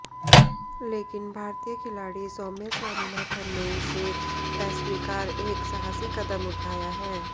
लेकिन भारतीय खिलाड़ी सौम्या स्वामीनाथन ने इसे अस्वीकार एक साहसी कदम उठाया हैं